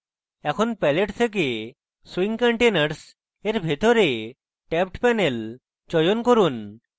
এখন palette থেকে swing containers এর ভিতরে tabbedpanel চয়ন করুন